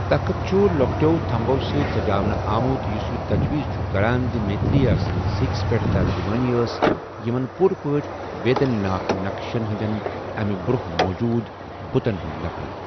تخٕت چُھ لۄکٹیٚو تھمبو سۭتۍ سَجاونہٕ آمُت، یُس یہِ تجویز چُھ کَران زِ میترِ٘یا سٕنٛزِ سِکس پیٹھ ترجٗمٲنی ٲس یمن پوٗرٕ پٲٹھۍ ویدین ناك نقشن ہندین اَمہِ برونہہ موجوُد بٗتن ہٗند نقل ۔